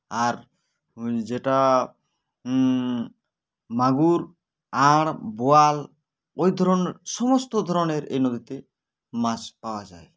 আর যেটা উ উ মাগুর আঁর বোয়াল ঐধরনের সমস্ত ধরনের এ নদীতে মাছ পাওয়া যায়